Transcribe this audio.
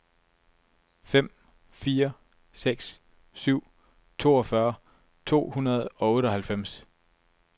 fem fire seks syv toogfyrre to hundrede og otteoghalvfems